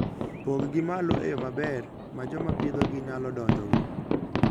Pong'gi malo e yo maber ma joma pidhogi nyalo donjogo.